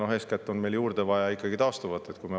Aga eeskätt on meil juurde vaja ikkagi taastuvat.